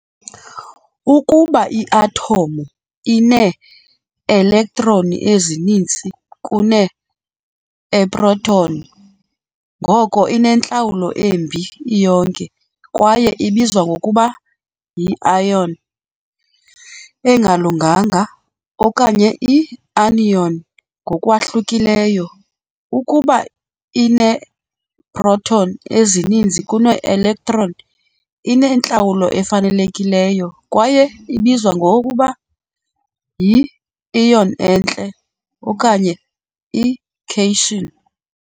Ukuba i-athomu ineelektroni ezininzi kuneeproton, ngoko inentlawulo embi iyonke, kwaye ibizwa ngokuba yi- ion engalunganga, okanye i-anion. Ngokwahlukileyo, ukuba ineeproton ezininzi kunee-electron, inentlawulo efanelekileyo, kwaye ibizwa ngokuba yi-ion enhle, okanye i-cation.